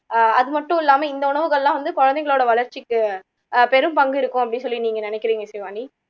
ஆஹ் அதுமட்டும் இல்லாம இந்த உணவுகள் எல்லாம் வந்து குழந்தைங்களோட வளர்ச்சிக்கு ஆஹ் பெரும் பங்கு இருக்கும் அப்படின்னு சொல்லி நீங்க நினைக்குறீங்க இசைவாணி